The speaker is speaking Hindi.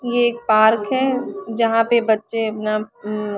ये एक पार्क है जहा पे बच्चे ना अम्म--